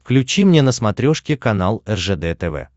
включи мне на смотрешке канал ржд тв